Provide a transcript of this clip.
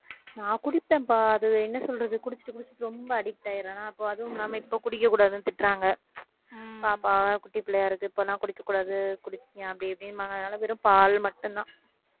நான் குடிப்பேன்பா அது என்ன சொல்றது குடிச்சிட்டு குடிச்சிட்டு ரொம்ப addict ஆயிடுறேன் அப்ப அதுவும் இல்லாம இப்ப குடிக்கக் கூடாதுன்னு திட்டுறாங்க பாப்பா குட்டிப் பிள்ளையாயிருக்கு இப்ப எல்லாம் குடிக்கக் கூடாது குடிப்பீங்க அப்படி இப்படிம்பாங்க அதனால வெறும் பால் மட்டும்தான்